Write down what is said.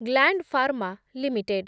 gland Pharma limited